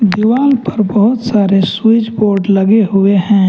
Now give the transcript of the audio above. दीवाल पर बहुत सारे स्विच बोर्ड लगे हुए हैं ।